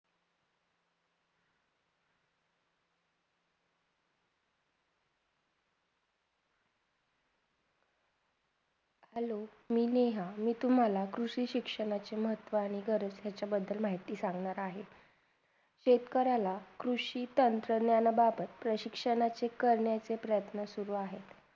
Hello मी नेहा. मी तुम्हाला कृषी शिक्षणाचे महत्त्व आणि गरज याचाबधल माहिती सांगणार आहे शेतकऱ्याला कृषी चंचणारा बाबत तर शिक्षणाचे करण्याचे प्रयत्न चालू आहेत